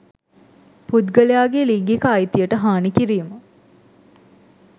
පුද්ගලයාගේ ලිංගික අයිතියට හානි කිරීම,